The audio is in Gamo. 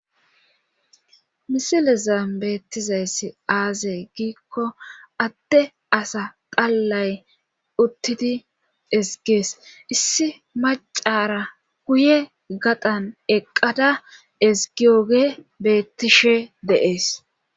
Misile zaam beettizayssi aazey giikko atte asa qallay uttidi esgees issi macara kuye gadan eqqada esgiyoge beettishe deees.